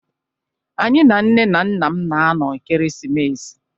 Anyị na nne na nna m na-anọ ekeresimesi.